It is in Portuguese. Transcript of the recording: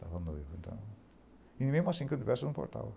Estava noivo, então... E mesmo assim que eu tivesse, eu não importava.